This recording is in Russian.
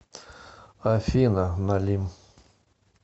афина налим